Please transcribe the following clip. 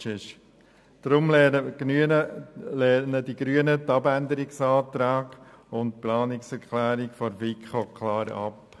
Deshalb lehnen die Grünen den Abänderungsantrag und die Planungserklärung der FiKo klar ab.